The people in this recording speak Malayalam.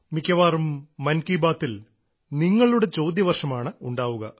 മിക്കവാറും മൻ കി ബാത്തിൽ നിങ്ങളുടെ ചോദ്യവർഷമാണ് ഉണ്ടാവുക